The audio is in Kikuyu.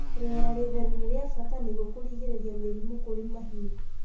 Rĩera rĩtheru nĩ rĩa bata nĩguo kũrigĩrĩria mĩrimũ kũrĩ mahiũ.